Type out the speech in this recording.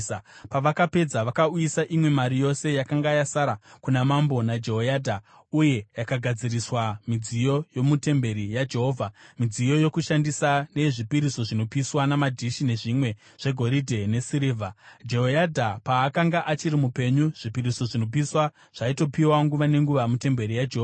Pavakapedza vakauyisa imwe mari yose yakanga yasara kuna mambo naJehoyadha, uye yakagadziriswa midziyo yomutemberi yaJehovha: midziyo yokushandisa neyezvipiriso zvinopiswa namadhishi nezvimwe zvegoridhe nesirivha. Jehoyadha paakanga achiri mupenyu, zvipiriso zvinopiswa zvaitopiwa nguva nenguva mutemberi yaJehovha.